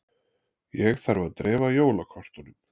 Ég þarf að dreifa jólakortunum.